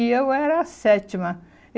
E eu era a sétima.